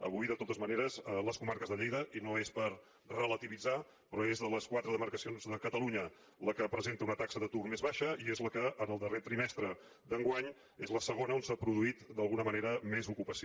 avui de totes maneres les comarques de lleida i no és per relativitzar però és de les quatre demarcacions de catalunya la que presenta una taxa d’atur més baixa i és la que en el darrer trimestre d’enguany és la segona on s’ha produït d’alguna manera més ocupació